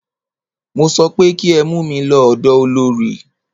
Mo sọ pé kí ẹ mú mí lọ ọ̀dọ olorì!